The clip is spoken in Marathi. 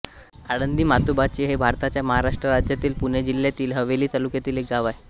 आळंदी म्हातोबाची हे भारताच्या महाराष्ट्र राज्यातील पुणे जिल्ह्यातील हवेली तालुक्यातील एक गाव आहे